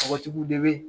Tɔgɔtigiw de bɛ